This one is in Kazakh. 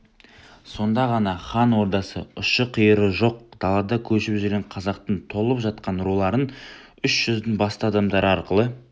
сонда ғана хан ордасы ұшы-қиыры жоқ далада көшіп жүрген қазақтың толып жатқан руларын үш жүздің басты адамдары арқылы